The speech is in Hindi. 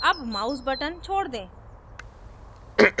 अब mouse button छोड़ दें